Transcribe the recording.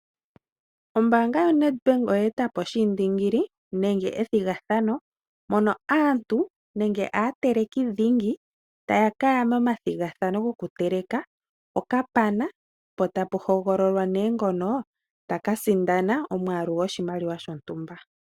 Ombaanga yo Nedbank oyetapo oshindingili nenge ethigathano mono aantu nenge aatelekidhingi taya kaya momathigathano goku teleka okapana. Po tapu hogololwa ne ngono taka sindana omwaalu goshimaliwa shontumba.